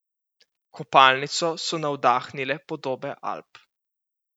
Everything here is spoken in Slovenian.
Kopalnico so navdahnile podobe Alp.